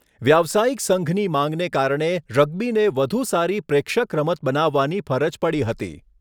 વ્યાવસાયિક સંઘની માંગને કારણે રગ્બીને વધુ સારી 'પ્રેક્ષક' રમત બનાવવાની ફરજ પડી હતી.